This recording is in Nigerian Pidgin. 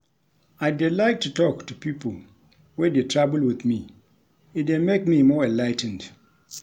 I dey like to talk to people wey dey travel with me, e dey make me more enligh ten ed *